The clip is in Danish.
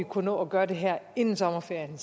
kunne nå at gøre det her inden sommerferien